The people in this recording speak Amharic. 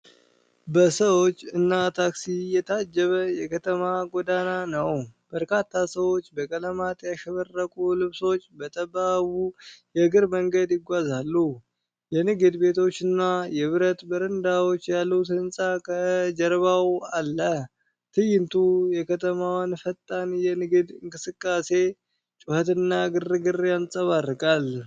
በሰዎች እና ታክሲ የታጀበ የከተማ ጎዳና ነው። በርካታ ሰዎች በቀለማት ያሸበረቁ ልብሶች በጠባቡ የእግረኛ መንገድ ይጓዛሉ። የንግድ ቤቶችና የብረት በረንዳዎች ያሉት ሕንፃ ከጀርባው አለ። ትዕይንቱ የከተማዋን ፈጣን የንግድ እንቅስቃሴ ጩኸትና ግርግር ያንጸባርቃል።